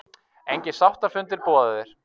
Engir sáttafundir boðaðir